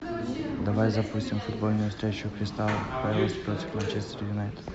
давай запустим футбольную встречу кристал пэлас против манчестер юнайтед